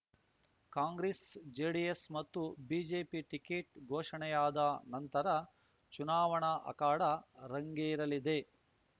Congress JDS ಮತ್ತು BJP ticket ಘೋಷಣೆಯಾದ ನಂತರ ಚುನಾವಣಾ ಅಖಾಡ ರಂಗೇರಲಿದೆ